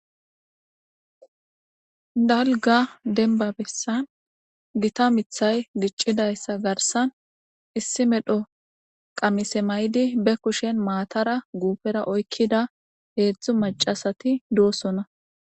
dalga denba bessan gita mithay giccidayssa garsan issi medho qamise maydi be kushen maatara guupera oykkida heedzdzu maca asati doosona